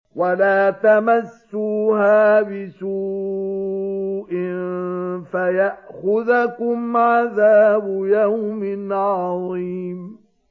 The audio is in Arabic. وَلَا تَمَسُّوهَا بِسُوءٍ فَيَأْخُذَكُمْ عَذَابُ يَوْمٍ عَظِيمٍ